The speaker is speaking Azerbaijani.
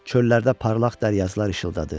Çöllərdə parlaq dəryazılar işıldadı.